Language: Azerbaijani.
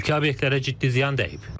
Mülki obyektlərə ciddi ziyan dəyib.